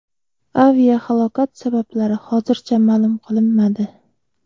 Aviahalokat sabablari hozircha ma’lum qilinmadi.